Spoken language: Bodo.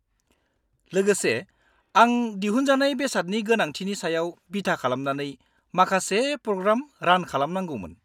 -लोगोसे, आं दिहुनजानाय बेसादनि गोनांथिनि सायाव बिथा खालामनानै माखासे प्रग्राम रान खालामनांगौमोन।